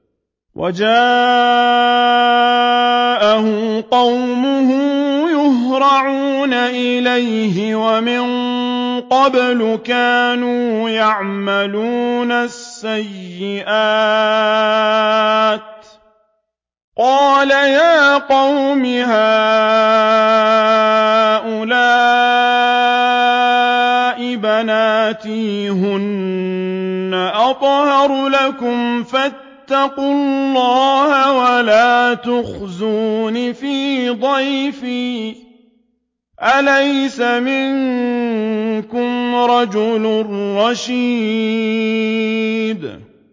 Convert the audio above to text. وَجَاءَهُ قَوْمُهُ يُهْرَعُونَ إِلَيْهِ وَمِن قَبْلُ كَانُوا يَعْمَلُونَ السَّيِّئَاتِ ۚ قَالَ يَا قَوْمِ هَٰؤُلَاءِ بَنَاتِي هُنَّ أَطْهَرُ لَكُمْ ۖ فَاتَّقُوا اللَّهَ وَلَا تُخْزُونِ فِي ضَيْفِي ۖ أَلَيْسَ مِنكُمْ رَجُلٌ رَّشِيدٌ